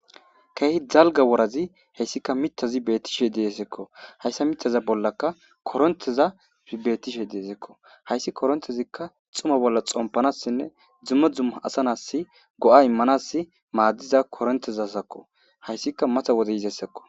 keehi dalga worazi hayssika mitazi beettishe deeeseekko hayssa mitaza bollaka koronteza bettishe deesekko hayssi korontezikka xuma bolla xompanassinne dzumma dzumma asa nasi go7a immanas maaddiza korontezasakko hayssika mata wodey yizesekko